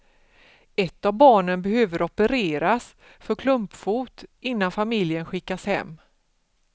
Ett av barnen behöver opereras för klumpfot innan familjen skickas hem.